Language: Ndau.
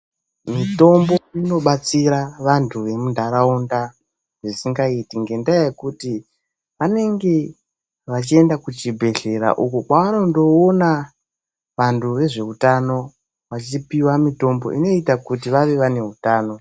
Mitombo inobatsira vantu vemunharaunda ngendaa yekuti vanenge vachienda kuchibhehlera uko kwavanondoona vantu vezveutano vachipiwa mitombo inoita kuti vave vaine utano.